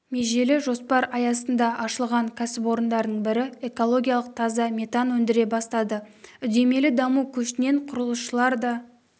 межелі жоспар аясында ашылған кәсіпорындардың бірі экологиялық таза метан өндіре бастады үдемелі даму көшінен құрылысшылар да